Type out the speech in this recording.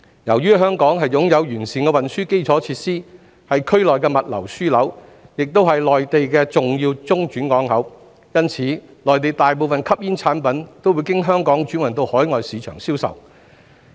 由於香港擁有完善的運輸基礎設施，是區內的物流樞紐，亦是內地重要的中轉港口，因此，內地大部分吸煙產品都會經香港轉運到海外市場銷售。